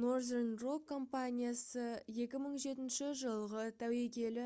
northern rock компаниясы 2007 жылғы тәуекелі